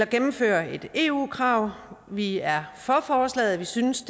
gennemfører et eu krav vi er for forslaget vi synes